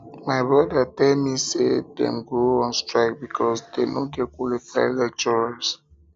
my broda tell me say dem go on strike because dey no get qualified lecturers